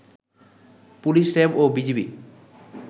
police, RAB ও BGB